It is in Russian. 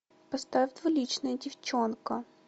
поставь двуличная девчонка